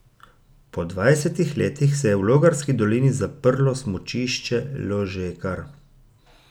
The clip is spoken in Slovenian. Po dvajsetih letih se je v Logarski dolini zaprlo smučišče Ložekar.